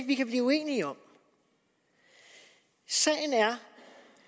vi kan blive uenige om sagen er